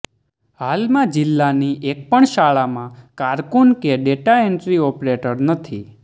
હાલમાં જિલ્લાની એકપણ શાળામાં કારકુન કે ડેટાએન્ટ્રી ઓપરેટર નથી